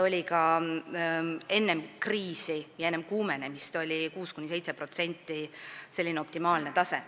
Ka enne kriisi ja enne kuumenemist oli 6–7% selline optimaalne tase.